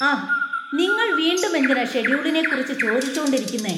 ആഹ്, നിങ്ങൾ വീണ്ടും എന്തിനാ ഷെഡ്യൂളിനെക്കുറിച്ച് ചോദിച്ചോണ്ടിരിക്കുന്നെ!